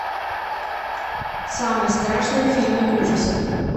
самые страшные фильмы ужасов